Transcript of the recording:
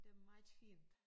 Det var meget fint